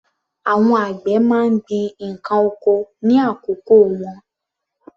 Àwọn àgbẹ̀ má ń gbin ǹkan oko ní àkókò wọn.